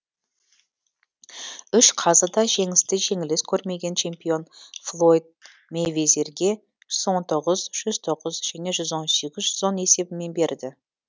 үш қазы да жеңісті жеңіліс көрмеген чемпион флойд мэйвезерге жүз он тоғыз жүз тоғыз және жүз он сегіз де жүз он есебімен берді